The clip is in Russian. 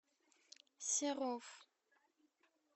серов